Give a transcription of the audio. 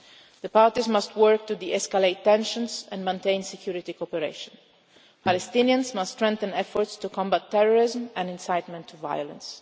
described. The parties must work to de-escalate tensions and maintain security cooperation. Palestinians must strengthen efforts to combat terrorism and incitement